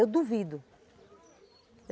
Eu duvido.